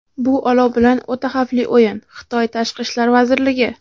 bu olov bilan o‘ta xavfli o‘yin – Xitoy Tashqi ishlar vazirligi.